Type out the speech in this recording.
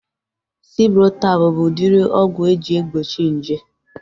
Ciprotab bụ udiri ọgwụ eji egbochi nje